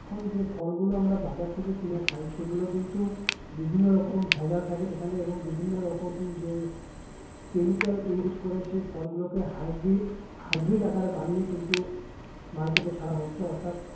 এখন যে ফলগুলো আমরা বাজার থেকে কিনে খাই সেইগুলো কিন্তু বিভিন্ন রকম ভেজাল থাকে সেখানে এবং বিভিন্ন রকম যে উম chemical use করে সেই ফলগুলোকে hybrid hybrid আকারে বানিয়ে কিন্তু market এ ছাড়া হচ্ছে অর্থাৎ